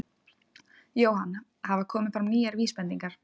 Jóhann: Hafa komið fram nýjar vísbendingar?